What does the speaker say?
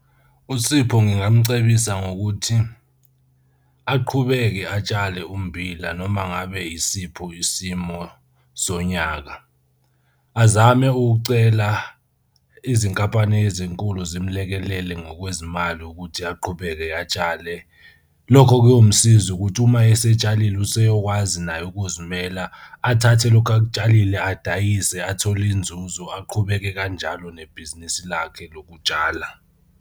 USipho ngingamcebisa ngokuthi aqhubeke atshale ummbila noma ngabe yisipho isimo sonyaka. Azame ukucela izinkampani ezinkulu zimlekelele ngokwezimali ukuthi aqhubeke atshale. Lokho kuyomsiza ukuthi uma esetshalile useyokwazi naye ukuzimela, athathe lokhu akutshalile adayise athole inzuzo aqhubeke kanjalo nebhizinisi lakhe lokutshala.